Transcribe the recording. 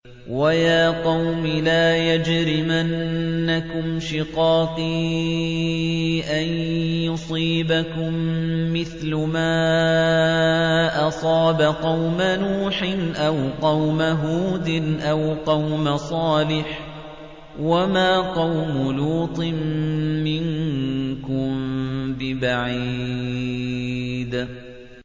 وَيَا قَوْمِ لَا يَجْرِمَنَّكُمْ شِقَاقِي أَن يُصِيبَكُم مِّثْلُ مَا أَصَابَ قَوْمَ نُوحٍ أَوْ قَوْمَ هُودٍ أَوْ قَوْمَ صَالِحٍ ۚ وَمَا قَوْمُ لُوطٍ مِّنكُم بِبَعِيدٍ